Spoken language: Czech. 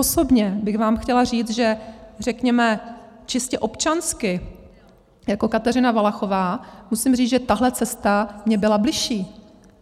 Osobně bych vám chtěla říct, že řekněme čistě občansky, jako Kateřina Valachová, musím říct, že tahle cesta mně byla bližší.